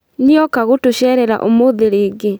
Nĩoka gũtũcerera ũmũthĩ rĩngĩ